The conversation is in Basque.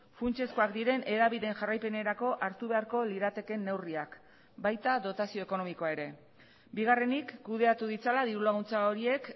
funtsezkoak diren hedabideen jarraipenerako hartu beharko liratekeen neurriak baita dotazio ekonomikoa ere bigarrenik kudeatu ditzala diru laguntza horiek